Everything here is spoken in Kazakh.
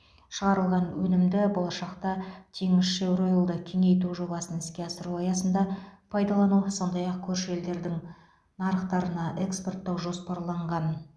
шығарылған өнімді болашақта теңізшевроил ды кеңейту жобасын іске асыру аясында пайдалану сондай ақ көрші елдердің нарықтарына экспорттау жоспарланған